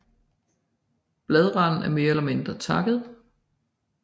Bladranden er mere eller mindre takket